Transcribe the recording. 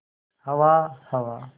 हवा हवा